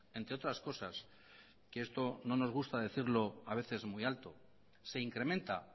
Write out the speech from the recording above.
entre otras cosas que esto no nos gusta decirlo a veces muy alto se incrementa